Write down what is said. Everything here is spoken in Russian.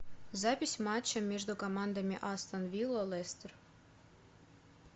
запись матча между командами астон вилла лестер